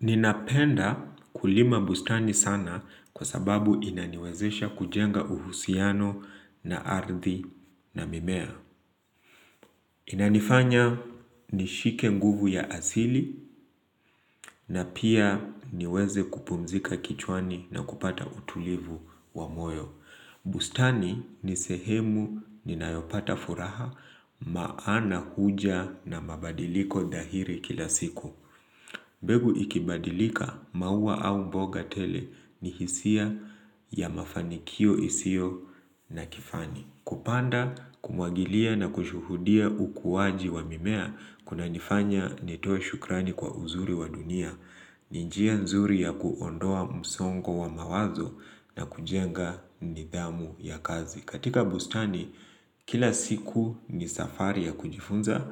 Ninapenda kulima bustani sana kwa sababu inaniwezesha kujenga uhusiano na ardhi na mimea. Inanifanya nishike nguvu ya asili na pia niweze kupumzika kichwani na kupata utulivu wa moyo. Bustani nisehemu ninaopata furaha maana huja na mabadiliko dahiri kila siku. Mbegu ikibadilika maua au mboga tele ni hisia ya mafanikio isiyo na kifani. Kupanda, kumwagilia na kushuhudia ukuwaji wa mimea kuna nifanya nitoe shukrani kwa uzuri wa dunia. Nijia nzuri ya kuondoa msongo wa mawazo na kujenga nidhamu ya kazi. Katika bustani, kila siku ni safari ya kujifunza,